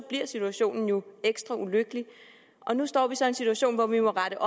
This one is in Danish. bliver situationen jo ekstra ulykkelig nu står vi så i en situation hvor vi må rette